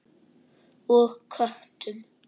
Og köttum.